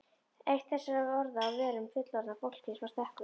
Eitt þessara orða á vörum fullorðna fólksins var stekkur.